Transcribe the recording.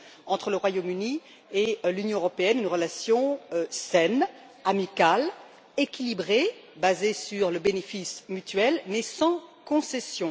entre le Royaume Uni et l'Union européenne une relation saine, amicale, équilibrée, basée sur le bénéfice mutuel, mais sans concession.